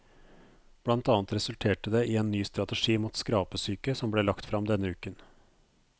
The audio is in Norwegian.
Blant annet resulterte det i en ny strategi mot skrapesyke som ble lagt frem denne uken.